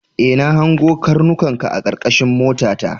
E, na hango karnukanka a karkashin motata.